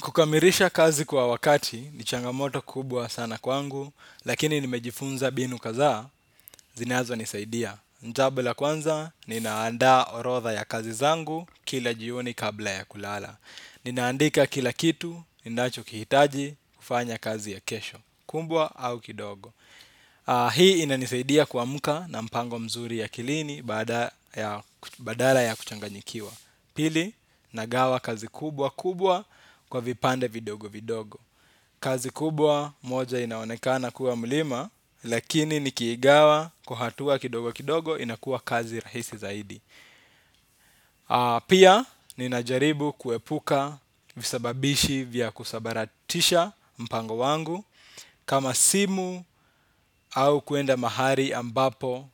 Kukamilisha kazi kwa wakati ni changamoto kubwa sana kwangu, lakini nimejifunza mbinu kadhaa zinazonisaidia. Jambo la kwanza, ninaanda orodha ya kazi zangu kila jioni kabla ya kulala. Ninaandika kila kitu ninachokihitaji kufanya kazi ya kesho, kubwa au kidogo. Hii inanisaidia kuamka na mpango mzuri akilini badala ya kuchanganyikiwa. Pili nagawa kazi kubwa kubwa kwa vipande vidogo vidogo. Kazi kubwa moja inaonekana kuwa mlima. Lakini nikiigawa kwa hatua kidogo kidogo inakuwa kazi rahisi zaidi. Pia ninajaribu kuepuka visababishi vya kusambaratisha mpango wangu. Kama simu au kwenda mahali ambapo